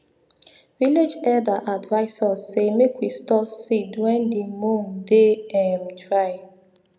village elder advise us say make we store seed wen di moon dey um dry